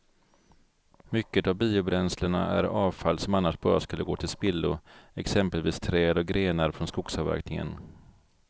Mycket av biobränslena är avfall som annars bara skulle gå till spillo, exempelvis träd och grenar från skogsavverkningen.